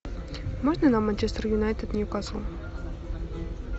можно нам манчестер юнайтед ньюкасл